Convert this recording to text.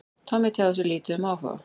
Tommi tjáði sig lítið um áhuga